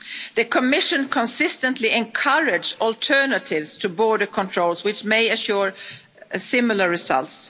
this year. The Commission consistently encouraged alternatives to border controls, which may assure similar